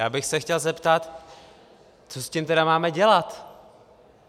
Já bych se chtěl zeptat, co s tím tedy máme dělat?